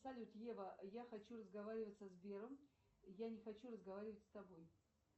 салют ева я хочу разговаривать со сбером я не хочу разговаривать с тобой